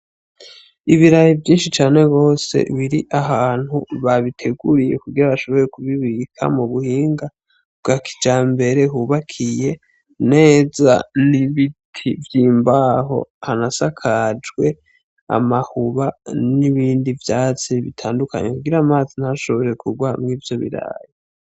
Ibirahi vyinshi cane bose biri ahantu babiteguriye kugira bashobore kubibika mu buhinga kuga kija mbere hubakiye neza n'ibiti vy'imbaho hanasakajwe amahuba n'ibindi vyatsi bitandukanye kugira amazi ntashobore kubwa wamwe ivyo biraye.